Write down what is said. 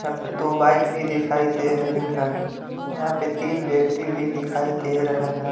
यहां पे दो बाइक भी दिखाई दे रहे हैं यहां पे तीन व्यक्ति भी दिखाई दे रहे हैं।